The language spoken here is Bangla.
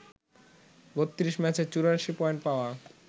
৩২ ম্যাচে ৮৪ পয়েন্ট পাওয়া